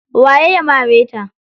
Waye ya mare ta?